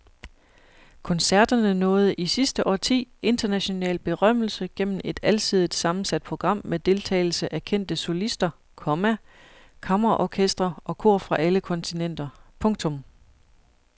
Koncerterne nåede i sidste årti international berømmelse gennem et alsidigt sammensat program med deltagelse af kendte solister, komma kammerorkestre og kor fra alle kontinenter. punktum